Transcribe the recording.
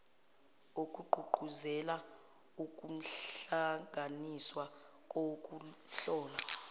okugqugquzela ukuhlanganiswa kokuhlola